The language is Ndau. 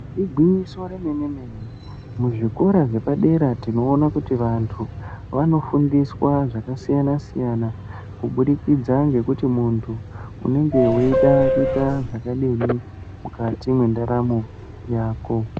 Igwinyiso remene-mene, muzvikora zvepadera tinoona kuti vantu vanofundiswa zvakasiyana-siyana, kubudikidza ngekuti muntu, unenge weida kuita zvakadini mukati mendaramo yako.